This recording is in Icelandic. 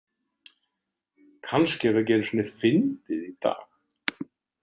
Kannski er það ekki einu sinni fyndið í dag.